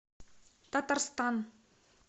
татарстан